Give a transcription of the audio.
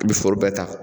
I bɛ foro bɛɛ ta